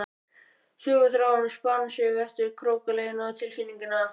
Söguþráðurinn spann sig eftir krókaleiðum tilfinninganna.